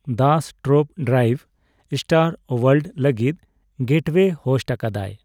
Das top drive ᱼ star world ᱞᱟᱹᱜᱤᱫ gateway host ᱟᱠᱟᱫᱟᱭ ᱾